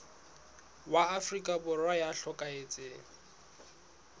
wa afrika borwa ya hlokahetseng